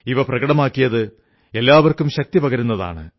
ഇവ പ്രകടമാക്കിയത് എല്ലാവർക്കും ശക്തി പകരുന്നതാണ്